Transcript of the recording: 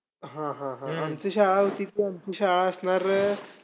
आम अडाणी यासारख्या company आपल्याकडे वळल्या आणि आपल्या मीनाक्षी नगर मध्ये lightchi सुविधा ही आली .